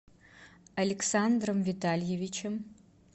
александром витальевичем